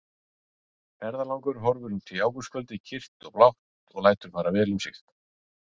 Ferðalangur horfir út í ágústkvöldið kyrrt og blátt og lætur fara vel um sig.